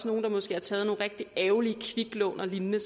nogle har måske taget nogle rigtig ærgerlige kviklån og lignende